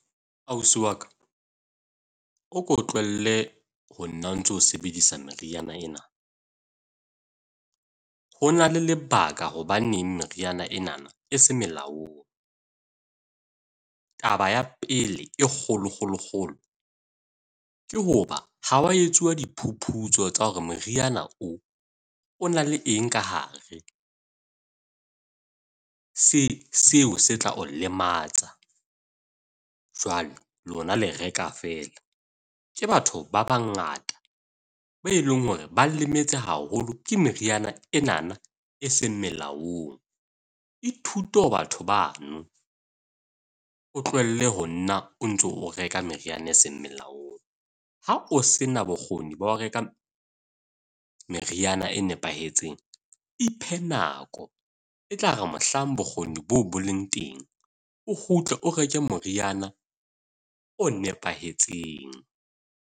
Ausi wa ka, o ko tlohelle honna o ntso sebedisa meriana ena. Ho na le lebaka hobaneng meriana ena e se molaong. Taba ya pele e kgolo kgolo kgolo, ke hoba ha wa etsuwa diphuputso tsa hore meriana o o na le eng ka hare. Seng seo se tla o lematsa. Jwale lona le reka fela. Ke batho ba bangata be e leng hore ba lemetse haholo ke meriana enana, e seng melaong. Ithute ho batho bano, o tlohelle honna o ntso o reka meriana e seng molaong. Ha o se na bokgoni ba ho reka meriana e nepahetseng, iphe nako, e tla re mohlang bokgoni boo bo leng teng o kgutle o reke moriana o nepahetseng.